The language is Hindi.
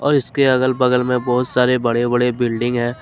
इसके अगल बगल में बहुत सारे बड़े बड़े बिल्डिंग है।